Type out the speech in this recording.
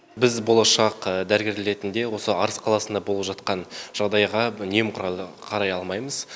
біз болашақ дәрігерлер ретінде осы арыс қаласында болып жатқан жағдайға немқұрайлы қарай алмаймыз